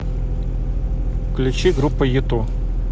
включи группу юту